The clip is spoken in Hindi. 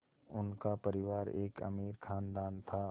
उनका परिवार एक अमीर ख़ानदान था